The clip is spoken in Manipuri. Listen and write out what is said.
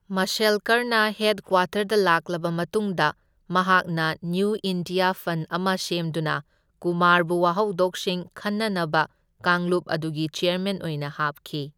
ꯃꯥꯁꯦꯜꯀꯔꯅ ꯍꯦꯗꯀ꯭ꯋꯥꯇꯔꯗ ꯂꯥꯛꯂꯕ ꯃꯇꯨꯡꯗ, ꯃꯍꯥꯛꯅ ꯅꯤꯌꯨ ꯑꯥꯏꯗꯤꯌꯥ ꯐꯟ ꯑꯃ ꯁꯦꯝꯗꯨꯅ ꯀꯨꯃꯥꯔꯕꯨ ꯋꯥꯍꯧꯗꯣꯛꯁꯤꯡ ꯈꯟꯅꯅꯕ ꯀꯥꯡꯂꯨꯞ ꯑꯗꯨꯒꯤ ꯆꯦꯌꯔꯃꯦꯟ ꯑꯣꯏꯅ ꯍꯥꯞꯈꯤ꯫